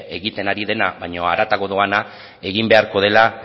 egiten ari dena baino haratago doana egin beharko dela